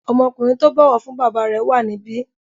Ọmọkùnrin tó bọ̀wọ̀ fún bàbá rẹ̀ wà níbí.